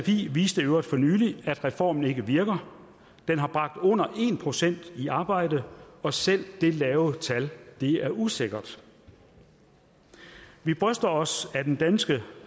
sfi viste i øvrigt for nylig at reformen ikke virker den har bragt under en procent i arbejde og selv det lave tal er usikkert vi bryster os af den danske